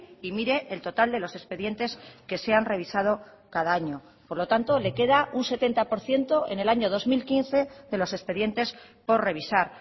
y mire el total de los expedientes que se han revisado cada año por lo tanto le queda un setenta por ciento en el año dos mil quince de los expedientes por revisar